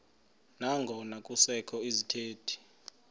nangona kusekho izithethi